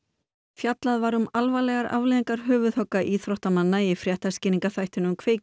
fjallað var um alvarlegar afleiðingar höfuðhögga íþróttamanna í fréttaskýringaþættinum